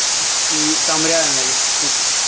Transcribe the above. и там реально их штук